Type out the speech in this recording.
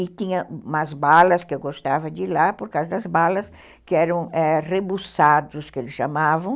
E tinha umas balas que eu gostava de ir lá, por causa das balas que eram rebussados, que eles chamavam.